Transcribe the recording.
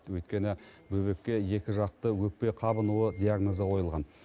өйткені бөбекке екі жақты өкпе қабынуы диагнозы қойылған